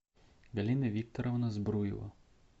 галина викторовна збруева